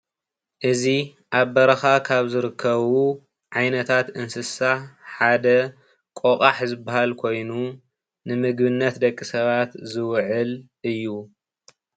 እዚ ኣብ በረካ ካብ ዝርከቡ ዓይነታት እንስሳ ሓደ ቆቛሕ ዝበሃል ኮይኑ ንምግብነት ደቂ ሰባት ዝውዕል እዩ፡፡